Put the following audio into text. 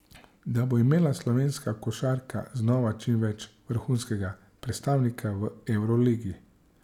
Da bo imela slovenska košarka znova čim prej vrhunskega predstavnika v evroligi.